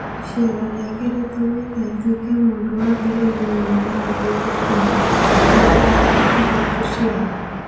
Icera rĩake rĩtũmĩte atuĩke mũndũ wa mbere thĩinĩ wa thĩ gũkinya 'itugĩ-inĩ iria ithatũ" cia thĩ